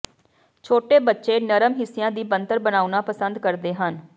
ਛੋਟੇ ਬੱਚੇ ਨਰਮ ਹਿੱਸਿਆਂ ਦੀ ਬਣਤਰ ਬਣਾਉਣਾ ਪਸੰਦ ਕਰਦੇ ਹਨ